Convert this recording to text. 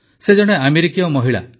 ସେ ଜଣେ ଆମେରିକୀୟ ମହିଳା